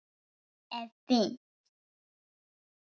Það er fínt.